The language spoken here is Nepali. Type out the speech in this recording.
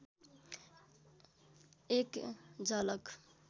एक झलक